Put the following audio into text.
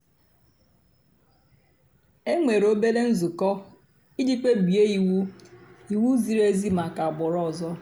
é nwèré òbèlé ǹzùkọ́ ìjì kpèbíé íwú íwú zìrí èzí màkà àgbụ́rụ́ ọ̀zọ́.